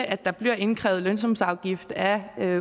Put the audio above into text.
at der bliver indkrævet lønsumsafgift af